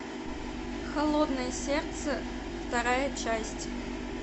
холодное сердце вторая часть